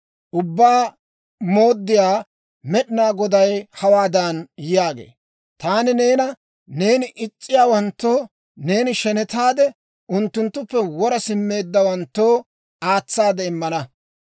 «Ubbaa Mooddiyaa Med'inaa Goday hawaadan yaagee; ‹Taani neena neeni is's'iyaawanttoo, neeni shenetaade, unttunttuppe wora simmeeddawanttoo aatsaade immana.